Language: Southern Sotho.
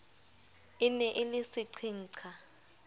e ne e le seqhenqha